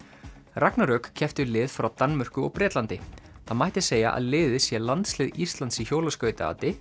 ragnarök keppti við lið frá Danmörku og Bretlandi það mætti segja að liðið sé landslið Íslands í